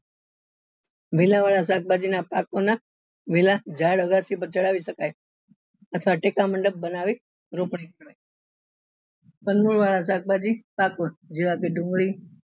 લીલા એવા શાકભાજી ના પાત્રો ના લીલા ઝાડ અગાસી પર ચડાવી શકાય તથા ટેકા મંડપ બનાવી શકાય વાળા શાકભાજી જેવા કે ડુંગળી